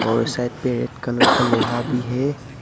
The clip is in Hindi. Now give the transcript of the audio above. और साइड पे रेड कलर का लोहा भी है।